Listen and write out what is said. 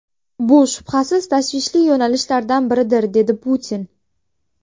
Bu, shubhasiz, tashvishli yo‘nalishlardan biridir”, dedi Putin.